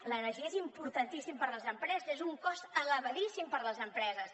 l’energia és importantíssima per a les empreses és un cost elevadíssim per a les empreses